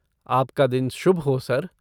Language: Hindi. आप का दिन शुभ हो, सर!